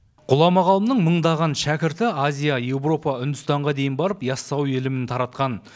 ғұлама ғалымның мыңдаған шәкірті азия еуропа үндістанға дейін барып ясауи ілімін таратқан